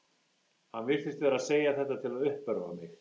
Hann virtist vera að segja þetta til að uppörva mig.